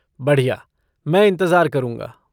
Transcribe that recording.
बढ़िया, मैं इंतज़ार करूँगा।